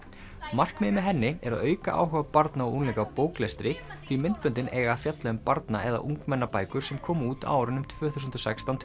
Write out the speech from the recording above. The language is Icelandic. markmiðið með henni er að auka áhuga barna og unglinga á bóklestri því myndböndin eiga að fjalla um barna eða ungmennabækur sem komu út á árunum tvö þúsund og sextán til